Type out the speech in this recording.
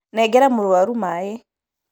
Nengera mũrwaru maĩ